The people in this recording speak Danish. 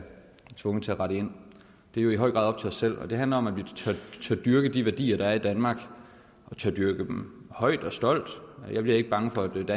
og tvunget til at rette ind det er jo i høj grad op til os selv det handler om at vi tør dyrke de værdier der er i danmark og tør dyrke dem højt og stolt jeg bliver ikke bange for et